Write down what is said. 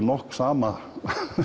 nokkuð sama